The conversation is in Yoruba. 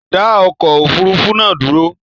Dá okò òfurufú nàá dúró